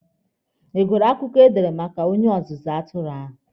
Ị gụrụ akụkọ ha dere maka onye ọzụzụ atụrụ ahụ?